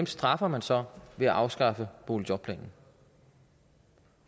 straffer man så ved at afskaffe boligjobplanen